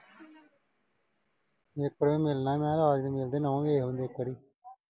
ਇੱਕ ਵਾਰੀ ਮਿਲਣਾ ਮੈਂ ਆਜਾਂਗੇ। ਉਹਦੀ ਨੌਂਹ ਦੇਖ ਲਈਏ ਇੱਕ ਵਾਰੀ।